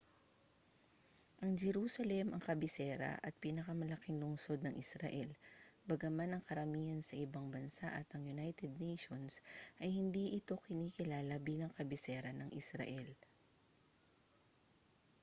ang jerusalem ang kabisera at pinakamalaking lungsod ng israel bagaman ang karamihan sa ibang bansa at ang united nations ay hindi ito kinikilala bilang kabisera ng israel